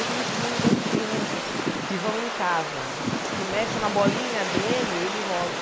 Ele tem ciúme das crianças que vão em casa, que mexem na bolinha dele, ele rosna.